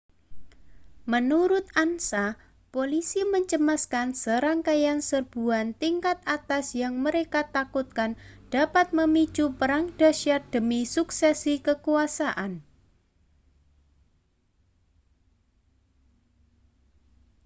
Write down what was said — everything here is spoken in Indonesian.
menurut ansa polisi mencemaskan serangkaian serbuan tingkat atas yang mereka takutkan dapat memicu perang dahsyat demi suksesi kekuasaan